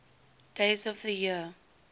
days of the year